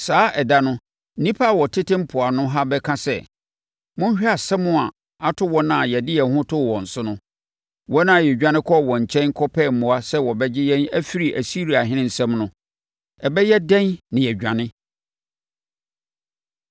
Saa ɛda no nnipa a wɔtete mpoano ha bɛka sɛ, ‘Monhwɛ asɛm a ato wɔn a yɛde yɛn ho too wɔn so no, wɔn a yɛdwane kɔɔ wɔn nkyɛn kɔpɛɛ mmoa sɛ wɔbɛgye yɛn afiri Asiriahene nsam no! Ɛbɛyɛ dɛn na yɛadwane?’ ”